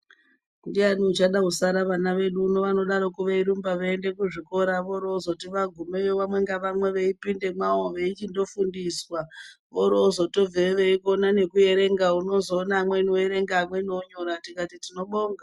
Ndiani achada kusara vana vedu vanodaroko veirumba veienda kuzvikora vorozoti vagumeyo umwe naumwe eipinda make vorofundiswa vorozotobveyo veikona nekuerenga vobveyo vamweni vakukona kunyora nekuerenga tikati tinobonga.